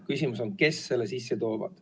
Küsimus on, kes selle sisse toovad.